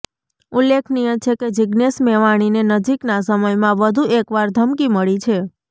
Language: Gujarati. ઉલ્લેખનીય છે કે જીગ્નેશ મેવાણીને નજીકના સમયમાં વધુ એક વાર ધમકી મળી છે